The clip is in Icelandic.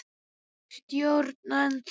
Stjórna ennþá.